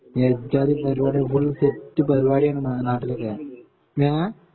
ഏജജാതി പരിപാടിയ ഇബഡേ ഒരു സെറ്റ് പരിപാടിയ നാട്ടിലൊക്കെ ഏ